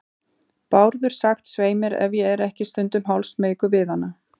Bárður sagt, svei mér, ef ég er ekki stundum hálfsmeykur við hana.